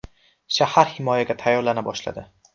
Shahar himoyaga tayyorlana boshladi.